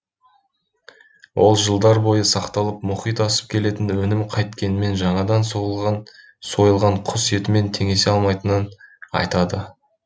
ол жылдар бойы сақталып мұхит асып келетін өнім қайткенмен жаңадан сойылған құс етімен теңесе алмайтынын айтады